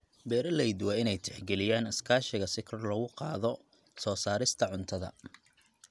Beeraleydu waa inay tixgeliyaan iskaashiga si kor loogu qaado soo saarista cuntada.